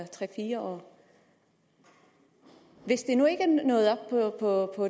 tre fire år hvis det nu ikke nået op på